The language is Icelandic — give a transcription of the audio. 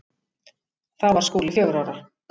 Þá var Skúli fjögurra ára.